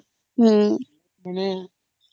ହଁ